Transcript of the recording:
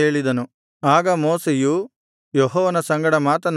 ಆಗ ಮೋಶೆಯು ಯೆಹೋವನ ಸಂಗಡ ಮಾತನಾಡಿ